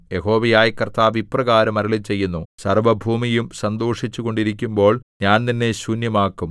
യഹോവയായ കർത്താവ് ഇപ്രകാരം അരുളിച്ചെയ്യുന്നു സർവ്വഭൂമിയും സന്തോഷിച്ചുകൊണ്ടിരിക്കുമ്പോൾ ഞാൻ നിന്നെ ശൂന്യമാക്കും